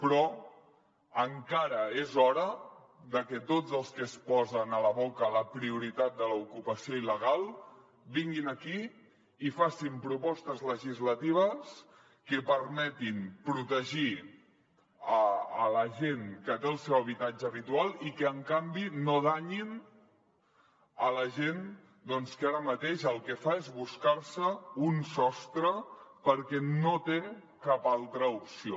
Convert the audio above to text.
però encara és hora de que tots els que es posen a la boca la prioritat de l’ocupació il·legal vinguin aquí i facin propostes legislatives que permetin protegir la gent que té el seu habitatge habitual i que en canvi no danyin la gent doncs que ara mateix el que fa és buscar se un sostre perquè no té cap altra opció